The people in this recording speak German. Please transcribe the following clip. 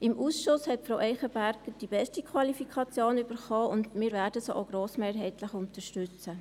Im Ausschuss hat Frau Eichenberger die beste Qualifikation erhalten, und wir werden sie auch grossmehrheitlich unterstützen.